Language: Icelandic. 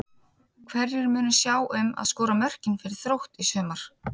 Hverjir munu sjá um að skora mörkin fyrir Þrótt í sumar?